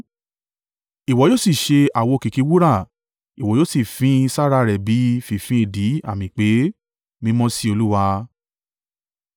“Ìwọ yóò sì ṣe àwo kìkì wúrà, ìwọ yóò sì fín sára rẹ̀ bí, fínfín èdìdì àmì pé. Mímọ́ sí Olúwa.